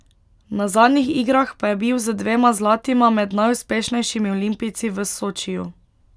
Na zadnjih igrah pa je bil z dvema zlatima med najuspešnejšimi olimpijci v Sočiju.